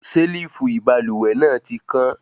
Selifu ibalúwẹ́ náà tí kàn